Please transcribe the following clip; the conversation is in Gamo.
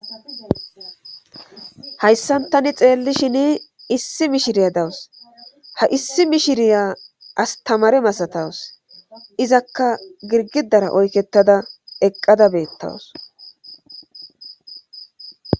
hayssantani xeellishin issi mishiriya dawus ha issi mishiriya astamare masatawus izakka girgidara oykettada eqqada beettawus